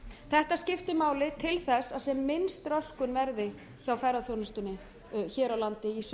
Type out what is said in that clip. þetta skiptir máli til þess að sem minnst röskun verði hjá ferðaþjónustunni hér á landi